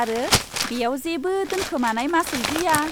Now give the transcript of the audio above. आरो बेयाव जेबो दोनखोमानाय मासुल गैया।